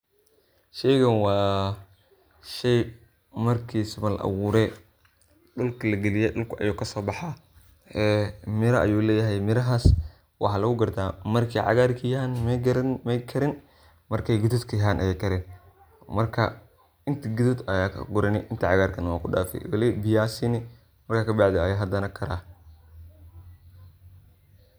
sheygan waa shey markisa ba la abuure dhulka lageliye, dhulka ayu kasoo baxaa ee mira ayuu leyahay, mirahaas waxaa lugu garta markay cagaar yahaan may karin markay gudud yahaan ayya kareen, marka inta gududka ah ayad kagurani inta cagaarkana wad kudhaafi, biya siini marka kabacdi ayu hadana karah